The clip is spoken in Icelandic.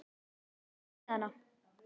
Talaðu við hana.